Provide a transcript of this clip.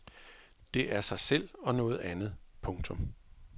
Det er sig selv og noget andet. punktum